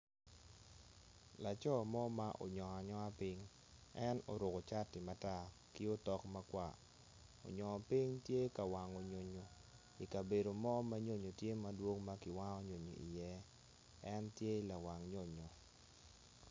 Laco mo ma onyongo anyonga piny en oruku cati matar ki otok makar onyongo piny tye ka wango nyonyo i kabedo mo ma nyonyo tye madwong ma ki wango nyonyo iye en tye lawang nyonyo